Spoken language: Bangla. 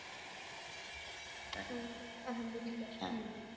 হম আলহামদুলিল্লাহ হম